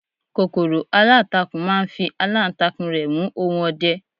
kòkòrò alantakun ma n fi alantakun rẹ mu ohun ọdẹ